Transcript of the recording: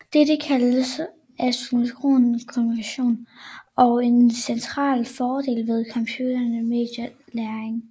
Dette kaldes asynkron kommunikation og en central fordel ved computermedieret læring